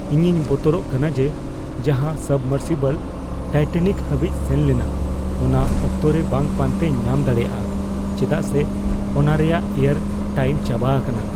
ᱤᱧᱤᱧ ᱵᱚᱛᱚᱨᱚᱜ ᱠᱟᱱᱟ ᱡᱮ ᱡᱟᱦᱟᱸ ᱥᱟᱵᱢᱚᱨᱥᱤᱵᱚᱞ ᱴᱟᱭᱴᱮᱱᱤᱠ ᱦᱟᱹᱵᱤᱡ ᱥᱮᱱᱞᱮᱱᱟ ᱚᱱᱟ ᱚᱠᱛᱚ ᱨᱮ ᱵᱟᱝ ᱯᱟᱱᱛᱮ ᱧᱟᱢ ᱫᱟᱲᱮᱭᱟᱜᱼᱟ ᱪᱮᱫᱟᱜ ᱥᱮ ᱚᱱᱟ ᱨᱮᱭᱟᱜ ᱮᱭᱟᱨ ᱴᱟᱭᱤᱢ ᱪᱟᱵᱟ ᱟᱠᱟᱱᱟ ᱾ (ᱦᱚᱲ ᱒)